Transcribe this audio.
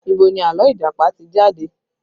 Ibo ni àlọ́ Ìjàpá ti jẹ jáde?